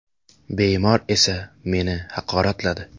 Bemor esa meni haqoratladi.